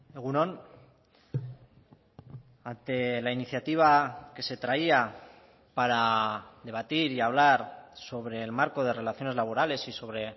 egun on ante la iniciativa que se traía para debatir y hablar sobre el marco de relaciones laborales y sobre